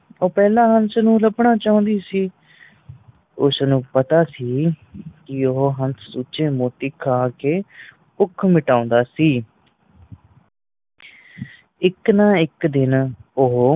ਉਹ ਪਹਿਲਾਂ ਹੰਸ ਨੂੰ ਲਬਣਾ ਚਾਂਦੀ ਸੀ ਉਸ ਨੂੰ ਪਤਾ ਸੀ ਕਿ ਉਹ ਹੰਸ ਸੁੱਚੇ ਮੋਤੀ ਖਾਂ ਕੇ ਭੁਖ ਮਿਟਾਉਂਦਾ ਸੀ ਇੱਕ ਨਾ ਇੱਕ ਦਿਨ ਓਹੋ